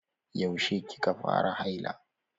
Yaushe kika fara haila?